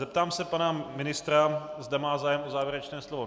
Zeptám se pana ministra, zda má zájem o závěrečné slovo.